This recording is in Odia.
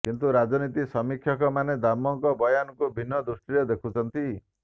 କିନ୍ତୁ ରାଜନୀତି ସମୀକ୍ଷକ ମାନେ ଦାମଙ୍କ ବୟାନକୁ ଭିନ୍ନ ଦୃଷ୍ଟିରେ ଦେଖୁଛନ୍ତି